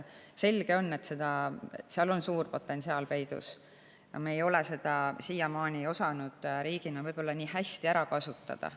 Selge on, et seal on suur potentsiaal peidus ja me ei ole riigina osanud seda siiamaani võib-olla nii hästi ära kasutada.